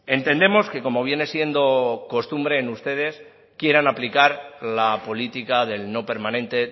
entendemos que como viene siendo costumbre en ustedes quieran aplicar la política del no permanente